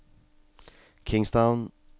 Kingstown